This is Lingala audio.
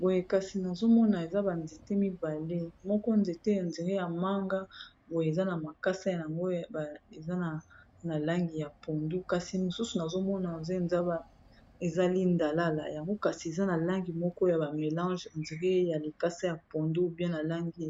Boye kasi nazomona eza banzete mibale moko nzete on dirait ya manga boye eza na makasa yango eza na langi ya pondu, kasi mosusu nazomona eza lindalala yango kasi eza na langi moko ya ba mélange on dirait ya likasa ya pondu ou bien langi